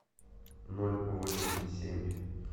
ноль восемь семь